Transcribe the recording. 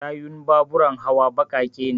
tayun baburan hawa baƙaƙe ne